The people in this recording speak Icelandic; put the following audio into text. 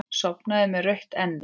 Sofnaði með rautt enni.